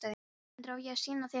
GUÐMUNDUR: Á ég að sýna þér þá?